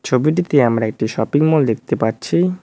ছবিটিতে আমরা একটি শপিং মল দেখতে পাচ্ছি।